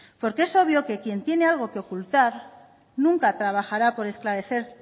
porque es obvio que quien tiene algo que ocultar nunca trabajará por esclarecer